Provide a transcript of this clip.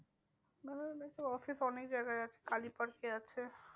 বন্ধন ব্যাঙ্কের office অনেক জায়গায় আছে, কালী পার্কে আছে।